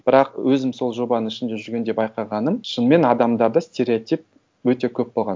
бірақ өзім сол жобаның ішінде жүргенде байқағаным шынымен адамдарда стереотип өте көп болған